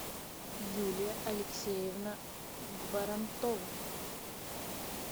юлия алексеевна барантова